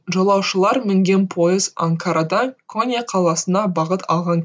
жолаушылар мінген пойыз анкарадан конья қаласына бағыт алған